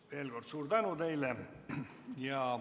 Veel kord suur tänu teile!